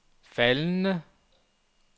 faldende